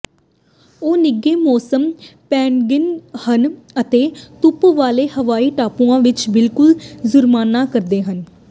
ਉਹ ਨਿੱਘੇ ਮੌਸਮ ਪੈਨਗੁਿਨ ਹਨ ਅਤੇ ਧੁੱਪ ਵਾਲੇ ਹਵਾਈ ਟਾਪੂਆਂ ਵਿੱਚ ਬਿਲਕੁਲ ਜੁਰਮਾਨਾ ਕਰਦੇ ਹਨ